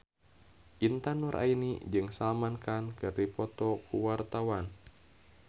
Intan Nuraini jeung Salman Khan keur dipoto ku wartawan